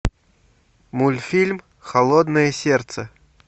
мультфильм холодное сердце